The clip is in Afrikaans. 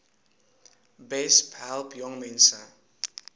besp help jongmense